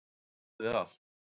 Hann hafði allt.